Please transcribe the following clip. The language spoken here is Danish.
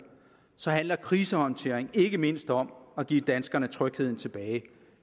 så handler krisehåndtering ikke mindst om at give danskerne trygheden tilbage